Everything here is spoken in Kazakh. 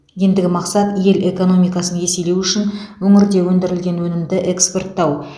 ендігі мақсат ел экономикасын еселеу үшін өңірде өндірілген өнімді экспорттау